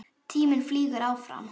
Tíminn flaug áfram.